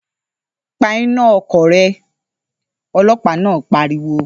‘Pa iná o̩kò̩ re̩!’, o̩ló̩pàá náà pariwo